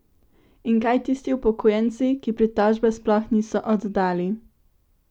In kaj tisti upokojenci, ki pritožbe sploh niso oddali?